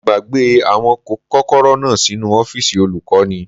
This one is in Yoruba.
Mo gbàgbé àwọn kọ́kọ́rọ́ náà sínu ọ́fìsì olùkọ́ni